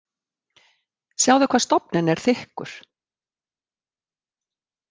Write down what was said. Sjáðu hvað stofninn er þykkur.